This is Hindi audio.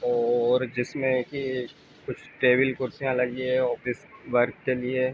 और जिसमें की कुछ टेबल कुर्सियां लगी है ऑफिस वर्क के लिए।